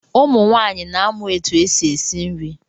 Ụmụ nwaanyị na amụ etụ esi esi nri.